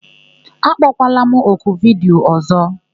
Akpọkwala m oku vidiyo ọ̀zọ́!